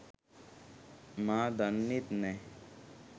මා දන්නෙත් නැහැ.